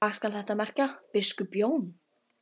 Og hvað skal þetta merkja, biskup Jón?